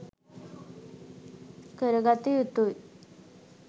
කර ගත යුතුය.